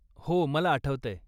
हो, मला आठवतंय.